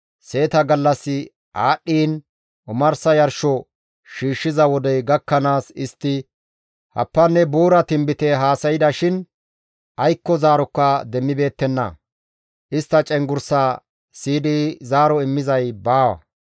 Seeta gallassi aadhdhiin omarsa yarsho shiishshiza wodey gakkanaas istti happanne buura tinbite haasayda shin aykko zaarokka demmibeettenna; istta cenggurssaa siyidi zaaro immizay baawa.